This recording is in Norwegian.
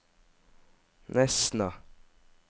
Nesna